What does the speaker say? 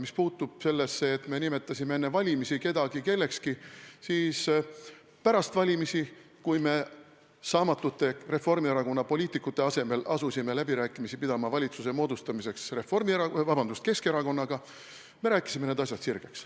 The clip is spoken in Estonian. Mis puudutab seda, et me nimetasime enne valimisi kedagi kellekski, siis pärast valimisi, kui me saamatute Reformierakonna poliitikute asemel asusime valitsuse moodustamiseks läbirääkimisi pidama Keskerakonnaga, rääkisime need asjad sirgeks.